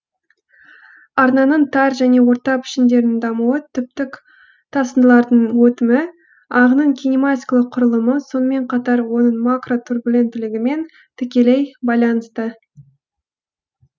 арнаның тар және орта пішіндерінің дамуы түптік тасындылардың өтімі ағынның кинематикалық құрылымы сонымен қатар оның макротурбуленттілігімен тікелей байланысты